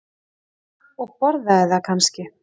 Og borðaði það kannski?